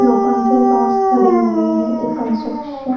लोकन के रॉट्स खड़े हुए हैं एक कंस्ट्रक्शन --